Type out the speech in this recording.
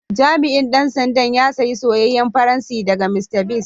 Jami'in Dan sanda ya saya soyayen fransi daga Mr.biggs.